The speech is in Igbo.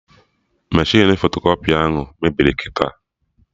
Meshịn fotokọpị ahụ mebiri kịta